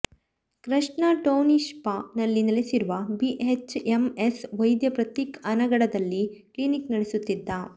Krishna township ನಲ್ಲಿ ನೆಲೆಸಿರುವ B H M S ವೈದ್ಯ ಪ್ರತೀಕ್ ಅನಗಢದಲ್ಲಿ ಕ್ಲಿನಿಕ್ ನಡೆಸುತ್ತಿದ್ದ